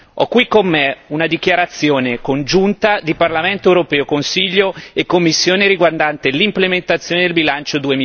Ho qui con me una dichiarazione congiunta di Parlamento europeo, Consiglio e Commissione riguardante l'implementazione del bilancio